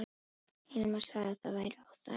Hilmar sagði að það væri óþarfi.